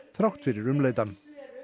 þrátt fyrir umleitan